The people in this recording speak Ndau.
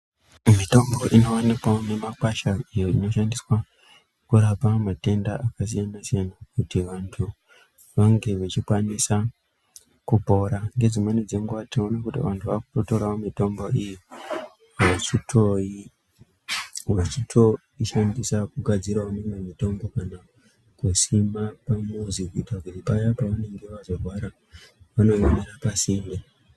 Mitombo inovanikwavo mumakwasha iyo inoshandiswa kurapa matenda akasiyana-siyana. Kuti vantu vange vachikwanisa kupora nedzimweni dzenguva tinoona kuti vantu vakutotoravo mitombo iyi vachitoishandisa kugadziravo imwe mitombo. Kana kusima pamuzi kuitira kuti paya pavanenge vazorwara vanoionera pasinde.